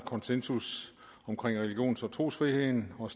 konsensus om religions og trosfriheden og